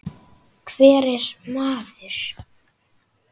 Og hver er maður?